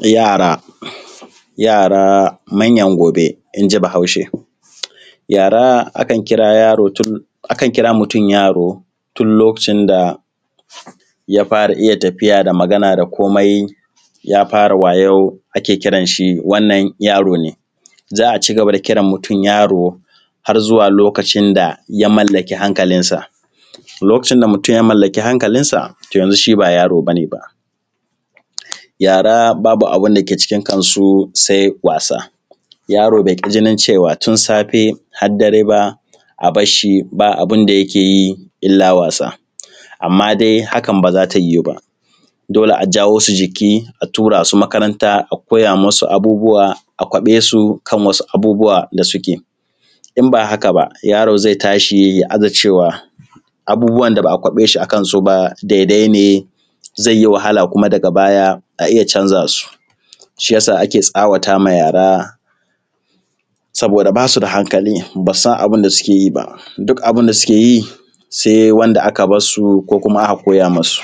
Yara. Yara manyan gobe inji bahaushe, yara akan kira yaro tun, akan kira mutum yaro tun lokacin daya fara iya tafiya, magana da komai ya fara wayau ake kiran shi wannan yaro ne. Za a ci gaba da kiran mutum yaro har zuwa lokacin daya mallaki hankalinsa. A lokacin da mutum ya mallaki hankalinsa to yanzu shi ba yaro bane ba. Yara babu abinda ke cikin kansu sai wasa, yaro bai jinin cewa tun safe har dare ba a barshi ba abinda yike yi ila wasa, amma dai hakan baza ta yiwu ba dole a jawosu jiki a turasu makaranta a koya musu abubuwa a kwabesu kan wasu abubuwa da suke, in ba haka ba yaro zai tashi ya aza cewa abubuwan da ba’a kwaɓe shi akansu ba daidai ne zai yi wahala kuma daga baya a iya canza su, shiyasa ake tsawatama yara saboda basu da hankali basu san abinda suke yi ba duk abinda suke yi sai wanda aka barsu ko kuma aka koya musu.